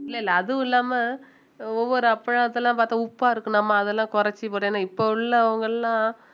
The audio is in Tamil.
இல்ல இல்ல அதுவும் இல்லாமல் ஒவ்வொரு அப்பளத்தெல்லாம் பார்த்தா உப்பா இருக்கும் நம்ம அதெல்லாம் குறைச்சு போட்டோம் ஏன்னா இப்போ உள்ளவங்க எல்லாம்